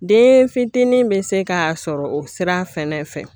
Den fitinin bɛ se ka sɔrɔ o sira fɛnɛ fɛ